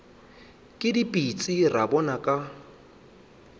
ke dipitsi ra bona ka